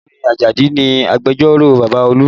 Ọ̀gbẹ́ni Ajadi ni agbẹjẹ́rò bàbá Olú